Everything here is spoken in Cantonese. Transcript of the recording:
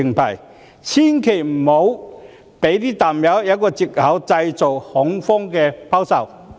政府千萬不要讓"淡友"有藉口製造恐慌性拋售。